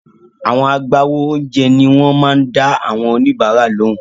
Àwọn agbáwo oúnjẹ ni wọ́n máa ń dá àwọn oníbàárà lóhùn.